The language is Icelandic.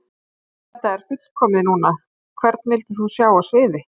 Þetta er fullkomið núna Hvern vildir þú sjá á sviði?